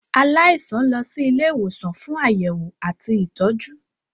Aláìsàn lọ sì Ilé ìwòsàn fún Àyẹwò àti ìtọjú.